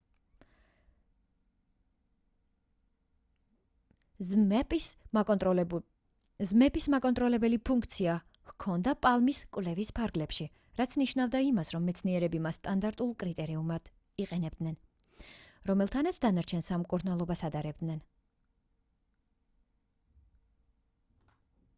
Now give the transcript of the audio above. zmapp-ს მაკონტროლებელი ფუნქცია ჰქონდა palm-ის კვლევის ფარგლებში რაც ნიშნავდა იმას რომ მეცნიერები მას სტანდარტულ კრიტერიუმად იყენებდნენ რომელთანაც დანარჩენ სამ მკურნალობას ადარებდნენ